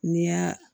N'i y'a